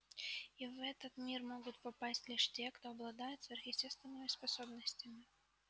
и в этот мир могут попасть лишь те кто обладает сверхъестественными способностями